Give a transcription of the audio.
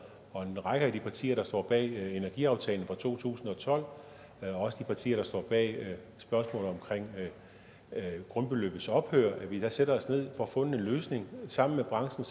og en række af de partier der står bag energiaftalen fra to tusind og tolv også de partier der står bag spørgsmålet om grundbeløbets ophør lad os sætte os ned og få fundet en løsning og sammen med branchen